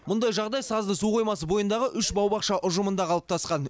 мұндай жағдай сазды су қоймасы бойындағы үш бау бақша ұжымында қалыптасқан